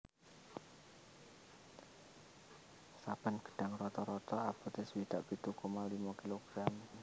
Saben gedhang rata rata abote swidak pitu koma limo gram